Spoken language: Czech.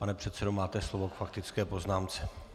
Pane předsedo, máte slovo k faktické poznámce.